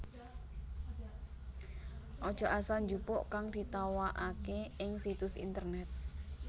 Aja asal njupuk kang ditawakaké ing situs internèt